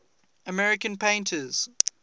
american painters